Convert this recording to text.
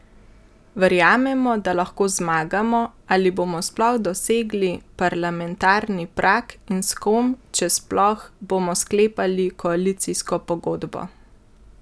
Verjamemo, da lahko zmagamo ali bomo sploh dosegli parlamentarni prag, in s kom, če sploh, bomo sklepali koalicijsko pogodbo?